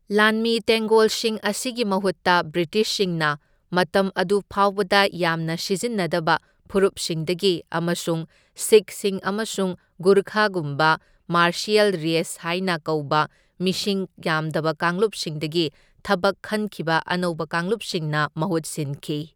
ꯂꯥꯟꯃꯤ ꯇꯦꯡꯒꯣꯜꯁꯤꯡ ꯑꯁꯤꯒꯤ ꯃꯍꯨꯠꯇ ꯕ꯭ꯔꯤꯇꯤꯁꯁꯤꯡꯅ ꯃꯇꯝ ꯑꯗꯨꯐꯥꯎꯕꯗ ꯌꯥꯝꯅ ꯁꯤꯖꯤꯟꯅꯗꯕ ꯐꯨꯔꯨꯞꯁꯤꯡꯗꯒꯤ ꯑꯃꯁꯨꯡ ꯁꯤꯈꯁꯤꯡ ꯑꯃꯁꯨꯡ ꯒꯨꯔꯈꯥꯒꯨꯝꯕ ꯃꯥꯔꯁꯤꯌꯦꯜ ꯔꯦꯁ ꯍꯥꯏꯅ ꯀꯧꯕ ꯃꯤꯁꯤꯡ ꯌꯥꯝꯗꯕ ꯀꯥꯡꯂꯨꯞꯁꯤꯡꯗꯒꯤ ꯊꯕꯛ ꯈꯟꯈꯤꯕ ꯑꯅꯧꯕ ꯀꯥꯡꯂꯨꯞꯁꯤꯡꯅ ꯃꯍꯨꯠ ꯁꯤꯟꯈꯤ꯫